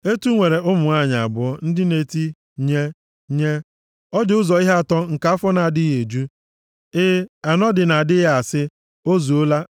“Etu nwere ụmụ nwanyị abụọ ndị na-eti, ‘Nye, nye.’ “Ọ dị ụzọ ihe atọ nke afọ na-adịghị eju. E, anọ dị na-adịghị asị, ‘O zuola.’